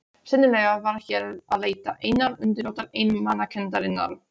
Sennilega var hér að leita einnar undirrótar einmanakenndarinnar.